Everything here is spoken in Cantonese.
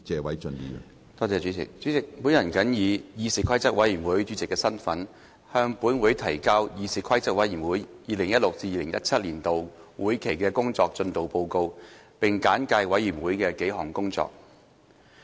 主席，我謹以議事規則委員會主席的身份，向本會提交議事規則委員會 2016-2017 年度會期的工作進度報告，並簡介委員會的數項工作。